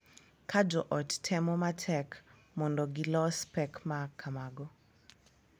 Ka jo ot temo matek mondo gilos pek ma kamago.